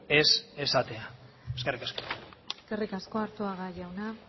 ez esatea eskerrik asko eskerrik asko arzuaga jauna